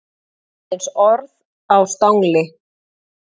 Aðeins orð á stangli.